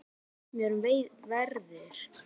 Yngvi, hvað geturðu sagt mér um veðrið?